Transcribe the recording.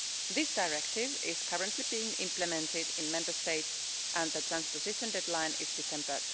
This directive is currently being implemented in Member States, and the transposition deadline is December